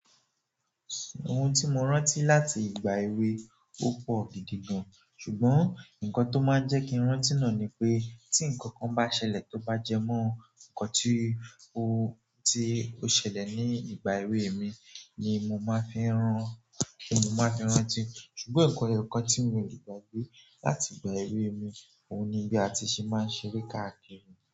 Ohun tí mo rántí láti ìgbà èwe, ó pọ̀ gidi gan. Ṣùgbọ́n ǹnkan tó máa ń jẹ́ kí n rántí náà ni pé tí ǹnkan kan bá ṣẹlẹ̀ tó bá jẹ mọ́ ǹkan tí ó, tí ó ṣẹlẹ̀ ní ìgbà èwe mi ni mo máa fi n rán, ni mo máa fi n rántí. Ṣùgbọ́n nǹkan ẹyọkan tí mi le gbàgbé láti ìgbà èwe mi, òun ni bí a ti ṣe máa ń ṣeré káàkiri.